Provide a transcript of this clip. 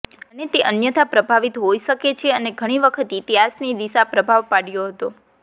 અને તે અન્યથા પ્રભાવિત હોઈ શકે છે અને ઘણી વખત ઇતિહાસની દિશા પ્રભાવ પાડ્યો હતો